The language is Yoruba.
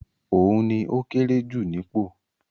Òun ni ókéré jù nípò.